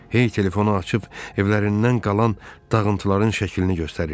Hey telefonu açıb evlərindən qalan dağıntıların şəklini göstərirdi.